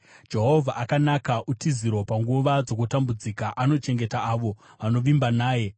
Jehovha akanaka, utiziro panguva dzokutambudzika. Anochengeta avo vanovimba naye,